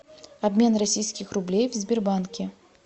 обмен российских рублей в сбербанке